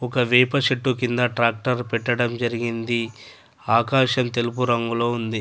ఒక వేప చెట్టు కింద ట్రాక్టర్ పెట్టడం జరిగింది. ఆకాశం తెలుపు రంగులో ఉంది.